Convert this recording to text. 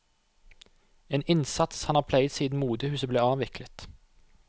En innsats han har pleiet siden motehuset ble avviklet.